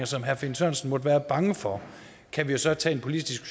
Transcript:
som herre finn sørensen måtte være bange for kan vi jo så tage en politisk